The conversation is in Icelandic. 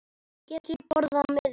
Get ég borgað með nýra?